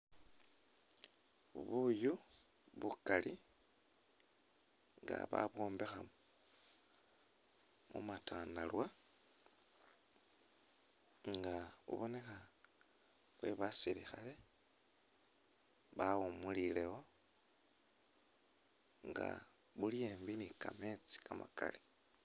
Buyu bukali nga babwombekha mu matandarwa, nga bubonekha bwe basilikhale bawumulilewo nga buli embi ni kameetsi kamakali.